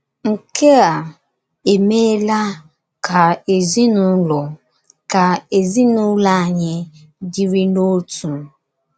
Nke á emeela ka ezinụlọ ka ezinụlọ anyị dịrị n’otu. ”